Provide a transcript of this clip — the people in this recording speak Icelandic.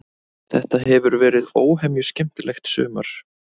Þetta hefur verið óhemju skemmtilegt sumar.